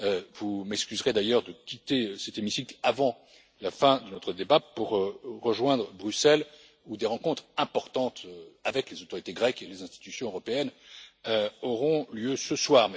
Vous m'excuserez d'ailleurs de quitter cet hémicycle avant la fin de notre débat pour rejoindre Bruxelles, où des rencontres importantes avec les autorités grecques et les institutions européennes auront lieu